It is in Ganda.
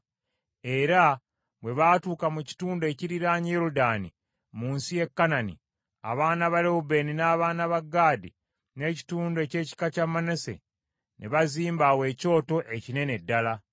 Era bwe baatuuka mu kitundu ekiriraanye Yoludaani mu nsi ya Kanani, abaana ba Lewubeeni n’abaana ba Gaadi n’ekitundu eky’ekika kya Manase, ne bazimba awo ekyoto, ekinene ddala.